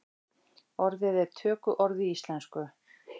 Orðið er tökuorð í íslensku.